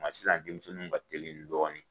Nka sisan denmisɛnninw ka teli dɔɔnin